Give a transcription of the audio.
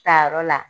Tayɔrɔ la